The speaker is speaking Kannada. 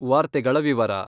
ವಾರ್ತೆಗಳ ವಿವರ...